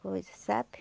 Coisa, sabe?